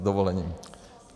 S dovolením.